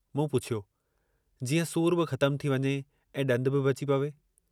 मूं पुछियो, "जीअं सूरु बि ख़तमु थी वञे ऐं ॾंदु बि बची पवे।